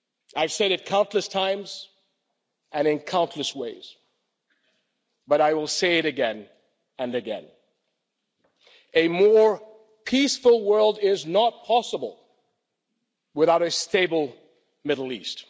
I've said it countless times and in countless ways, but I will say it again and again a more peaceful world is not possible without a stable Middle East.